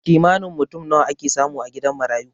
Kimanin mutum nawa ake samu a gidan marayu?